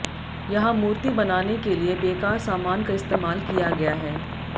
यहां मूर्ति बनाने के लिए बेकार सामान का इस्तेमाल किया गया है